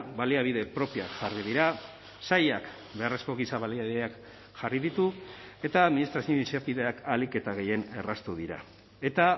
baliabide propioak jarri dira sailak beharrezko giza baliabideak jarri ditu eta administrazio izapideak ahalik eta gehien erraztu dira eta